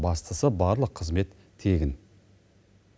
бастысы барлық қызмет тегін